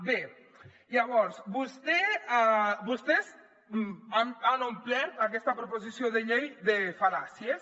bé llavors vostès han omplert aquesta proposició de llei de fal·làcies